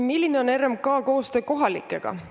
Milline on RMK koostöö kohalikega?